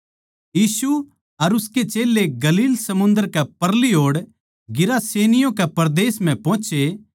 यीशु अर उसके चेल्लें गलील समुन्दर कै परली ओड़ गिरासेनियों कै परदेस म्ह पोहोचे